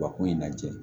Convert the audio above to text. Ba ko in lajɛ